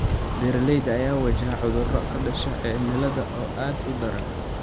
Beeralayda ayaa wajahaya cudurro ka dhasha cimilada oo aad u daran.